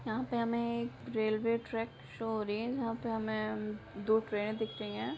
यहाँ पे हमें एक रेलवे ट्रेक शो हो रही है जहां पे हमें दो ट्रेने दिख रही हैं।